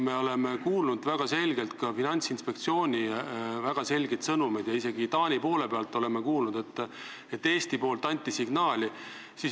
Me oleme kuulnud väga selgelt Finantsinspektsiooni väga selgeid sõnumeid ja isegi Taanist oleme kuulnud, et Eesti poolt anti signaali.